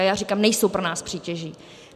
A já říkám, nejsou pro nás přítěží.